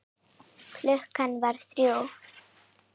Klukkan varð þrjú.